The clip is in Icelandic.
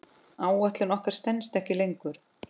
Áætlun okkar stenst ekki lengur.